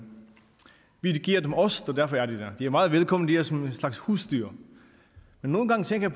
vi giver dem ost så derfor er de der de er meget velkomne det er som en slags husdyr men nogle gange tænker